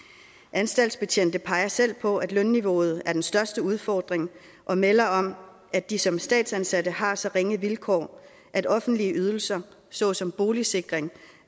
anstaltsbetjente peger selv på at lønniveauet er den største udfordring og melder om at de som statsansatte har så ringe vilkår at offentlige ydelser såsom boligsikring